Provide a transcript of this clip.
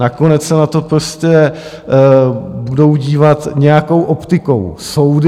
Nakonec se na to prostě budou dívat nějakou optikou soudy.